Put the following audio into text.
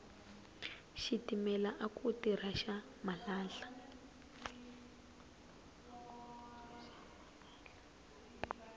xitimela aku tirha xa malahla